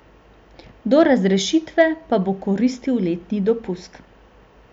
Do razrešitve pa bo koristil letni dopust.